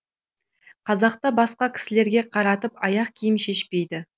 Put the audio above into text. қазақта басқа кісілерге қаратып аяқ киім шешпейді